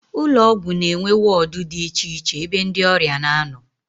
Ụlọọgwụ na-enwe wọọdụ dị icheiche ebe ndị ọrịa na-anọ